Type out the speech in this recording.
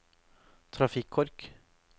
trafikkork